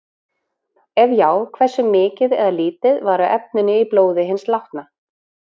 Ef já, hversu mikið eða lítið var af efninu í blóði hins látna?